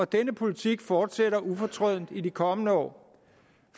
denne politik fortsætter ufortrødent i de kommende år